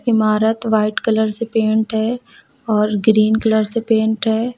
इमारत white colour से paint है और ग्रीन कलर से पेंट है।